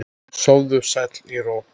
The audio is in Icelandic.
Sofðu sæll í ró.